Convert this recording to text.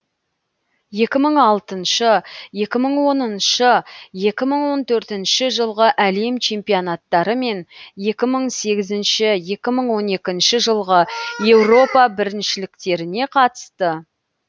екі мың алтыншы екі мың оныншы екі мың он төртінші жылғы әлем чемпионаттары мен екі мың сегізінші екі мың он екінші жылғы еуропа біріншіліктеріне қатысты